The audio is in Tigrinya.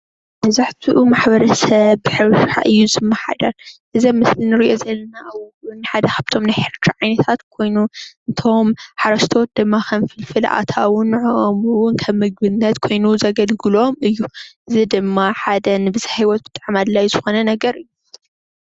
መብዛሕትኡ ማሕበረሰብ ሓደ እዚ ኣብ ምስሊ ንሪኦ ዘለና ውን ሓደ ካብ ናይ ተኽሊ ዓይነታት ኮይኑ ነቶም ሓረስቶት ድማ ከም ፍልፍል ኣታዊ ንዐኦም ከም ምግብነት ኮይኑ ዘገልግሎም እዩ፡፡ እዚ ሓደ ንብዝሓ ሂወት ብጣዕሚ ኣድላይ ዝኾነ ነገር እዩ፡፡